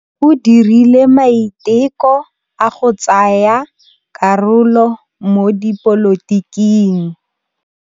O dirile maitekô a go tsaya karolo mo dipolotiking.